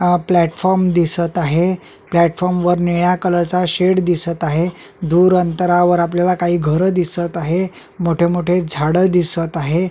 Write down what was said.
अ platform दिसत आहे platform वर निळ्या कलरचा शेड दिसत आहे दूर अंतरावर आपल्याला काही घर दिसत आहे मोठे मोठे झाड दिसत आहे.